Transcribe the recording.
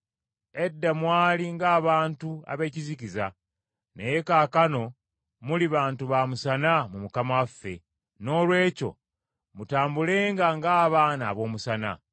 Edda mwali ng’abantu ab’ekizikiza, naye kaakano muli bantu ba musana mu Mukama waffe. Noolwekyo mutambulenga ng’abaana ab’omusana,